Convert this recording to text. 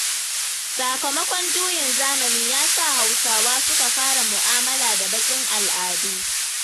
Sakamakon juyin zamani ya sa Hausawa suka fara mu'amala da baƙin al'adu.